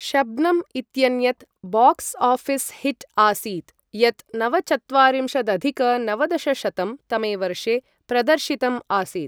शब्नम् इ्त्यन्यत् box office hit आसीत् यत् नवचत्वारिंशदधिक नवदशशतं तमे वर्षे प्रदर्शितम् आसीत्।